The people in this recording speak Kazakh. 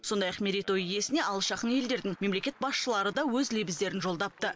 сондай ақ мерейтой иесіне алыс жақын елдердің мемлекет басшылары да өз лебіздерін жолдапты